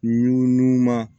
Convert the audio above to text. N'u numan